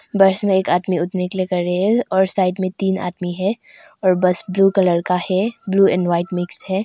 बस में एक आदमी उठने के लिए कर रहे हैं और साइड में तीन आदमी है और बस ब्लू कलर का है ब्लू एंड वाइट मिक्स है।